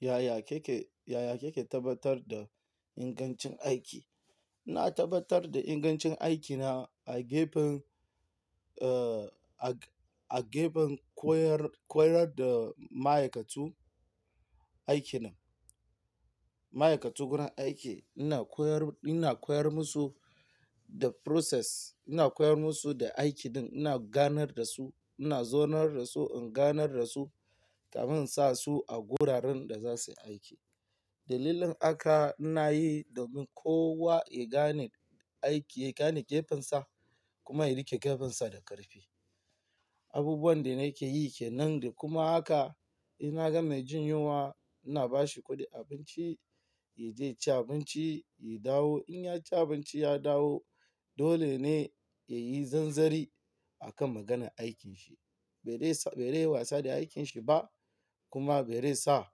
Yaya ke ke, yaya ke ke tabbatar da ingancin aiki? Na tabbatar da ingancin aikina a gefen, a gefen koyar, koyar da ma'aikatu aikina. Ma'aikatu gurin aiki ina koyar, ina koyar musu da process, ina koyar musu da aiki din, ina ganar da su, ina zonar da su in ganar da su kamin in sa su a guraren da za su yi aiki. Dalilin haka ina yi domin kowa ya gane aiki, ya gane gefensa kuma ya riƙe gefensa da ƙarfi. Abubuwan da nake yi ke nan da kuma haka in na ga mai jin yunwa ina ba shi kuɗin abinci, ya je ya ci abinci, ya dawo. In ya ci abinci ya dawo dole ne ya yi zanzari a kan maganar aikinsa. Bai dai sa, bai dai yi wasa da aikinsa ba kuma bai dai sa,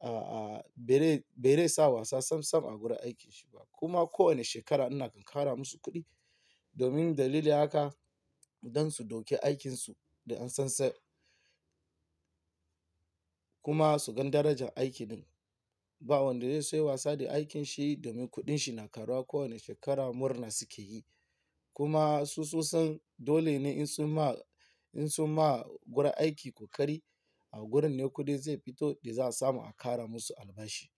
a, a, bai dai, bai dai sa wasa sam sam a gurin aikinsa ba. Kuma kowane shekara ina ƙara musu kuɗi domin dalili haka don su dauki aikinsu da nasasai kuma su gan darajar aiki din. Ba wanda zai so ya yi wasa da aikinsa domin kuɗin shi na karuwa kowane shekara murna suke yi. Kuma su soson dole ne in su ma, in su ma gurin aiki ƙoƙari a gurin ne kuɗin zai fito da za a samu a ƙara musu albashi.